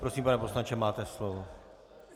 Prosím, pane poslanče, máte slovo.